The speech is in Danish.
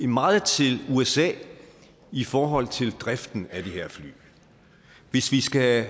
meget til usa i forhold til driften af de her fly hvis vi skal